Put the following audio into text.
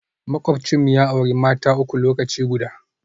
Makwabcinmu ya auri mata uku lokaci guda